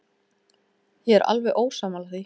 Ég er alveg ósammála því.